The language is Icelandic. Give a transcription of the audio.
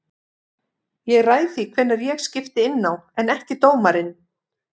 Ég ræð því hvenær ég skipti inná en ekki dómarinn.